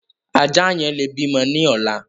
Ajá yẹn lè bímọ ní ọ̀la.